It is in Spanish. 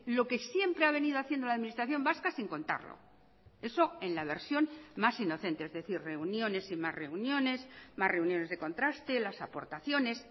lo que siempre ha venido haciendo la administración vasca sin contarlo eso en la versión más inocente es decir reuniones y más reuniones más reuniones de contraste las aportaciones